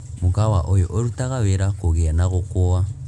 mukawa ũyũ ũrutaga wĩra kũgĩa na gũkũa